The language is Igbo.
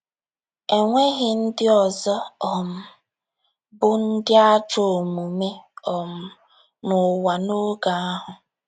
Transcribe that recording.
E nweghị ndị ọzọ um bụ́ ndị ajọ omume um n’ụwa n’oge ahụ?